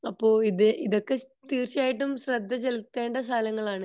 അപ്പൊ ഇത് ഇതൊക്കെ തീർച്ചയായിട്ടും ശ്രദ്ധ ചേലത്തേണ്ട സലങ്ങളാണ്